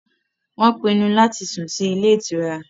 Wọn pinnu láti sùn sì ilé ìtura